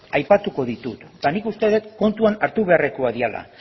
aipatuko ditut eta nik uste dut kontuan hartu beharrekoak direla